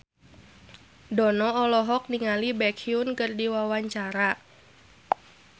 Dono olohok ningali Baekhyun keur diwawancara